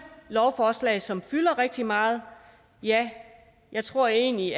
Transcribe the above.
lovforslag som fylder rigtig meget ja jeg tror egentlig